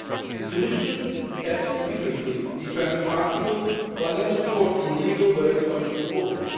The Commission has rigorously defended an Article 114 legal base for its proposal.